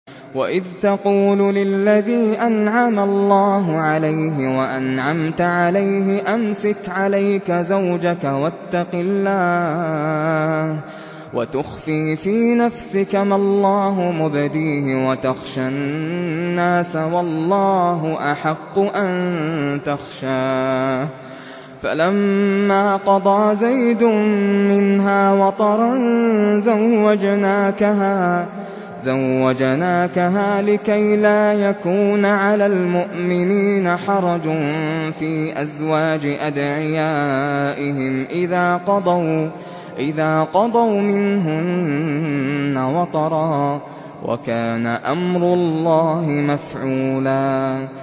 وَإِذْ تَقُولُ لِلَّذِي أَنْعَمَ اللَّهُ عَلَيْهِ وَأَنْعَمْتَ عَلَيْهِ أَمْسِكْ عَلَيْكَ زَوْجَكَ وَاتَّقِ اللَّهَ وَتُخْفِي فِي نَفْسِكَ مَا اللَّهُ مُبْدِيهِ وَتَخْشَى النَّاسَ وَاللَّهُ أَحَقُّ أَن تَخْشَاهُ ۖ فَلَمَّا قَضَىٰ زَيْدٌ مِّنْهَا وَطَرًا زَوَّجْنَاكَهَا لِكَيْ لَا يَكُونَ عَلَى الْمُؤْمِنِينَ حَرَجٌ فِي أَزْوَاجِ أَدْعِيَائِهِمْ إِذَا قَضَوْا مِنْهُنَّ وَطَرًا ۚ وَكَانَ أَمْرُ اللَّهِ مَفْعُولًا